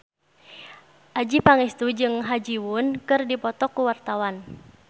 Adjie Pangestu jeung Ha Ji Won keur dipoto ku wartawan